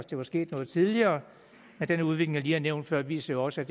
det var sket noget tidligere men den udvikling lige har nævnt før viser jo også at